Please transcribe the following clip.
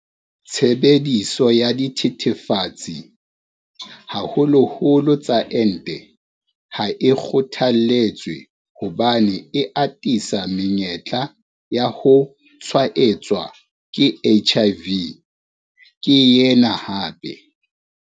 "Tshebediso ya dithethefatsi, haholoholo tsa ente ha e kgothaletswe hobane e atisa menyetla ya ho tshwaetswa ke HIV," ke yena hape.